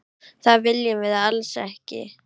Það viljum við alls ekki.